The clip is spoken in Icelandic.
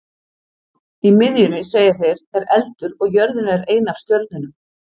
Í miðjunni, segja þeir, er eldur og jörðin er ein af stjörnunum.